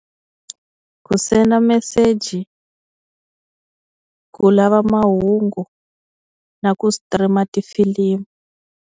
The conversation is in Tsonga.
Ku senda meseji, ku lava mahungu, na ku stream tifilimu.